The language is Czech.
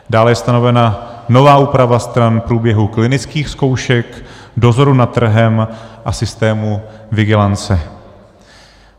Dále je stanovena nová úprava stran průběhu klinických zkoušek, dozoru nad trhem a systému vigilance.